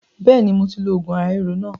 Bẹ́ẹ̀ni moti lo oògùn ara ríro náà